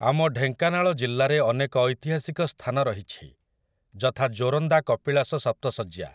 ଆମ ଢେଙ୍କାନାଳ ଜିଲ୍ଲାରେ ଅନେକ ଐତିହାସିକ ସ୍ଥାନ ରହିଛି, ଯଥା ଜୋରନ୍ଦା କପିଳାସ ସପ୍ତଶଯ୍ୟା ।